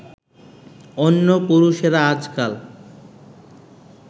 অন্য পুরুষেরা আজকাল